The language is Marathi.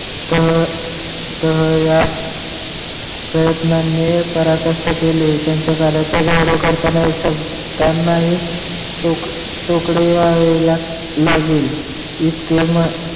तह तह या प्रयतनाणी परकष्ट केले तीनच्या कार्याच्या गौरव करताना तो शब्नदनाही टोकले आहे लगिल.